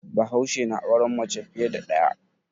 Bahaushe na auren mace fiye da ɗaya.